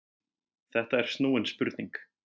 Þetta er snúin spurning.